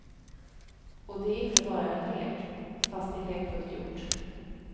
Och det är inte bara en lek, fast det är lekfullt gjort.